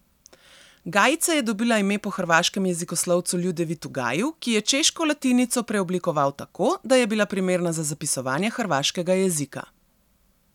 Gajica je dobila ime po hrvaškem jezikoslovcu Ljudevitu Gaju, ki je češko latinico preoblikoval tako, da je bila primerna za zapisovanje hrvaškega jezika.